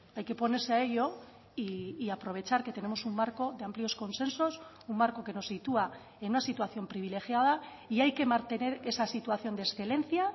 hay que ponerse a ello y aprovechar que tenemos un marco de amplios consensos un marco que nos sitúa en una situación privilegiada y hay que mantener esa situación de excelencia